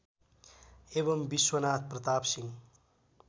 एवं विश्वनाथ प्रताप सिंह